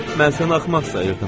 “Mən səni axmaq sayırdım.”